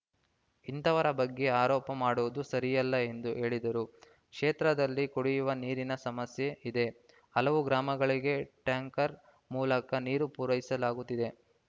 ಇಂತವರ ಬಗ್ಗೆ ಆರೋಪ ಮಾಡುವುದು ಸರಿಯಲ್ಲ ಎಂದು ಹೇಳಿದರು ಕ್ಷೇತ್ರದಲ್ಲಿ ಕುಡಿಯುವ ನೀರಿನ ಸಮಸ್ಯೆ ಇದೆ ಹಲವು ಗ್ರಾಮಗಳಿಗೆ ಟ್ಯಾಂಕರ್‌ ಮೂಲಕ ನೀರು ಪೂರೈಸಲಾಗುತ್ತಿದೆ